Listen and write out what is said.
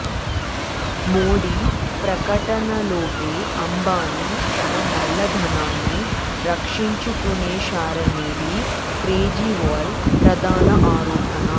మోడీ ప్రకటనలోపే అంబానీ తన నల్ల ధనాన్ని రక్షించుకునేశారనేది కేజ్రీవాల్ ప్రధాన ఆరోపణ